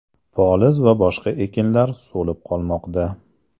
Poliz va boshqa ekinlar so‘lib qolmoqda.